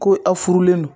Ko aw furulen don